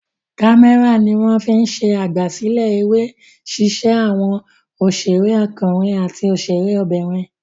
Kámẹ́rà ni wọ́n fi ń ṣe àgbàsílẹ̀ eré ṣíṣe àwọn òṣèré ọkùnrin àti òṣèré obìnrin.